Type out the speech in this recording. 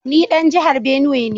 Ni dan jihar Benue ne